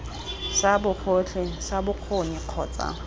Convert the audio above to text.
sa bogotlhe sa bokgoni kgotsa